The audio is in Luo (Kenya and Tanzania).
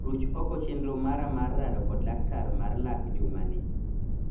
Ruch oko chenro mara mar rado kod laktar mar lak jumani.